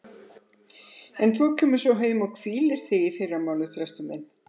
En þú kemur svo heim og hvílir þig í fyrramálið, Þröstur minn.